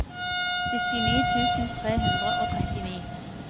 syttini tusen tre hundre og trettini